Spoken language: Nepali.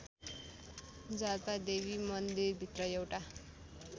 जाल्पादेवी मन्दिरभित्र एउटा